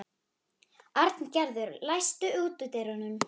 Arngerður, læstu útidyrunum.